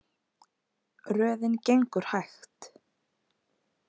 Röðin gengur hægt.